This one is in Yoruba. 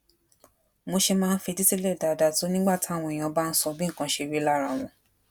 mo ṣe máa ń fetí sílè dáadáa tó nígbà táwọn èèyàn bá ń sọ bí nǹkan ṣe rí lára wọn